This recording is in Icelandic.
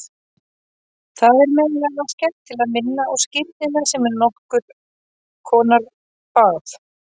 Það er meðal annars gert til að minna á skírnina sem er nokkur konar bað.